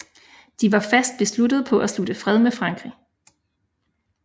De var fast besluttede på at slutte fred med Frankrig